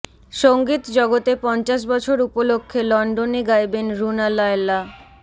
সঙ্গীত জগতে পঞ্চাশ বছর উপলক্ষে লন্ডনে গাইবেন রুনা লায়লা